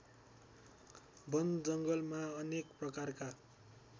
वनजङ्गलमा अनेक प्रकारका